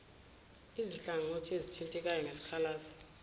izinhlangothi ezithintekayo ngesikhalazo